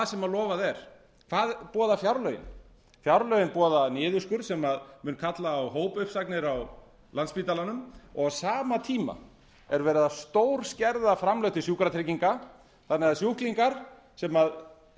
sem lofað er hvað boða fjárlögin fjárlögin boða niðurskurð sem mun kalla á hópuppsagnir á landspítalanum og á sama tíma er verið að stórskerða framlög til sjúkratrygginga þannig að sjúklingar sem